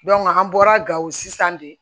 an bɔra gawo sisan de